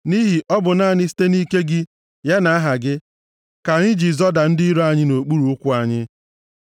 Nʼihi ọ bụ naanị site nʼike gị, ya na aha gị, ka anyị ji zọda ndị iro anyị nʼokpuru ụkwụ anyị.